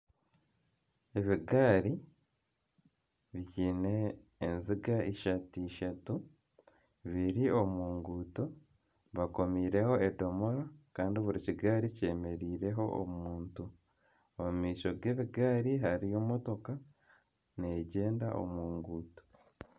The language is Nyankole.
Ebigaari byine enziga ishatu ishatu biri omu nguuto bakomiireho edomora kandi buri kigaari kyemereireho omuntu. omu maisho g'ebigaari hariyo motoka negyenda omu ruguuto.